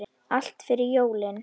Allt fyrir jólin.